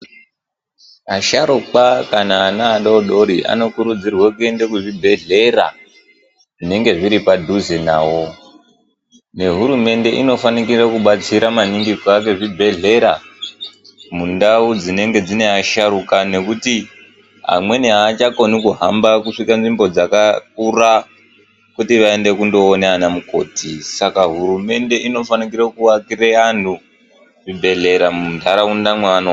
Asharukwa kana ana adodori ano kurudzirwa kuende ku zvibhedhlera zvinenge zviri padhuze nawo ne hurumende inofanikire kubatsira maningi ku ake zvibhedhlera mundau dzinenge dzine asharuka nekuti amweni achakoni kuhamba kusvika nzvimbo dzakakura kuti vaende kundo ona ana mukoti saka hurumende ino fanikire ku akire anhu zvibhedhlera mundaraunda mwano gara.